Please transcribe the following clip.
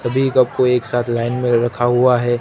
सभी कप को एक साथ लाइन में रखा हुआ है।